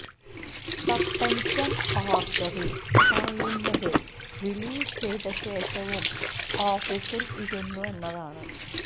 suspension ഓര്ഡറില് പറയുന്നത് relieve ചെയ്ത ശേഷവും ഓഫീസില് ഇരുന്നു എന്നതാണ്